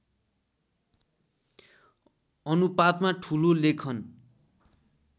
अनुपातमा ठुलो लेखन